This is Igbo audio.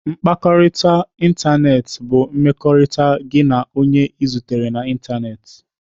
Mkpakọrịta n'ịntanetị bụ mmekọrịta gị na onye ị zutere na ịntanetị.